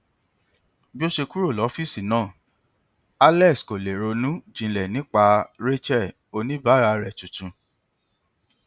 bí ó ṣe kúrò ní ọfíìsì náà alex kò lè ronú jinlẹ nípa rachel oníbàárà rẹ tuntun